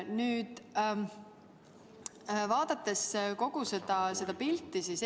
Aga vaadakem kogu seda tervikpilti!